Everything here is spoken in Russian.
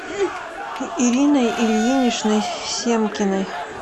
ириной ильиничной семкиной